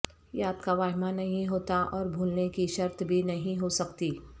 یاد کا واہمہ نہیں ہوتا اور بھولنے کی شرط بھی نہیں ہو سکتی